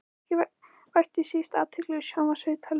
Ekki vakti síst athygli sjónvarpsviðtal við